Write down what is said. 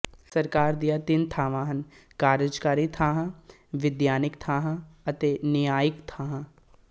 ਸਰਕਾਰ ਦੀਆਂ ਤਿੰਨ ਸ਼ਾਖ਼ਾਵਾਂ ਹਨ ਕਾਰਜਕਾਰੀ ਸ਼ਾਖ਼ਾ ਵਿਧਾਨਿਕ ਸ਼ਾਖ਼ਾ ਅਤੇ ਨਿਆਂਇਕ ਸ਼ਾਖ਼ਾ